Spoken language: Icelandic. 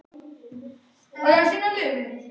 En við höfum ráðið við það.